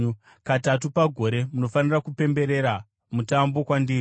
“Katatu pagore munofanira kupemberera mutambo kwandiri.